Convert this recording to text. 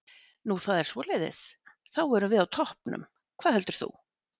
Nú það er svoleiðis, þá erum við á toppnum, hvað heldur þú?